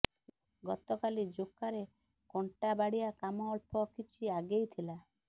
ଗତକାଲି ଯୋକାରେ କଣ୍ଟା ବାଡ଼ିଆ କାମ ଅଳ୍ପ କିଛି ଆଗେଇ ଥିଲା